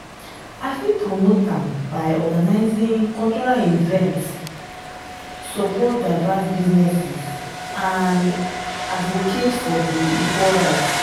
i fit promote am by organizing cultural events support diverse businesses and advocate for di equal rights.